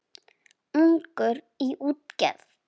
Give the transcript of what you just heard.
Ungur í útgerð